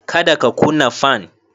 Kada ka kuna fan.